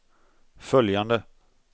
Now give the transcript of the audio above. följande